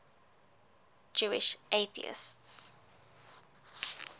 jewish atheists